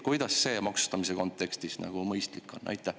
Kuidas see maksustamise kontekstis mõistlik on?